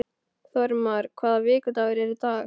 Þórmar, hvaða vikudagur er í dag?